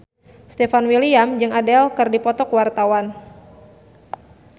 Stefan William jeung Adele keur dipoto ku wartawan